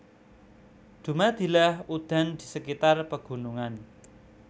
Dumadilah udan di sekitar pegunungan